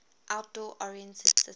outdoor oriented city